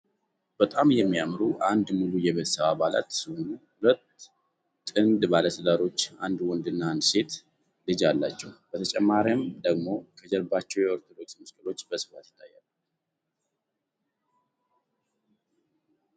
በጣም የሚያምሩ አንድ ሙሉ የቤተሰብ አባላት ሲሆኑ 2 ሁለት ጥንድ ባለትዳሮች አንድ ወንድና አንድ ሴት ልጅ አላቸው በተጨማሪም ደግሞ ከጀርባቸው የኦርቶዶክስ መስቀሎች በስፋት ይታያሉ።